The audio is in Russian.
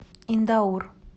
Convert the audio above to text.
индаур